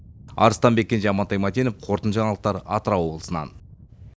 арыстанбек кенже амантай мәтенов қорытынды жаңалықтар атырау облысынан